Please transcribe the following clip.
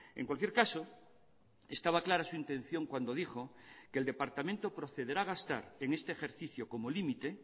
en cualquier caso estaba clara su intención cuando dijo que el departamento procederá a gastar en este ejercicio como límite